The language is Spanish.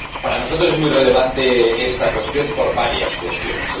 Para nosotros es muy relevante esta cuestión, por varias cuestiones.